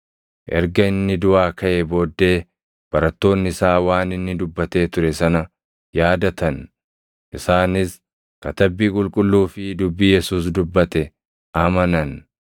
Erga inni duʼaa kaʼee booddee barattoonni isaa waan inni dubbatee ture sana yaadatan. Isaanis Katabbii Qulqulluu fi dubbii Yesuus dubbate amanan.